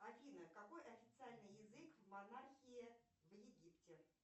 афина какой официальный язык в монархии в египте